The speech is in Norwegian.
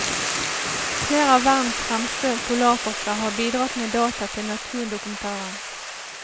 Flere av verdens fremste polarforskere har bidratt med data til naturdokumentaren.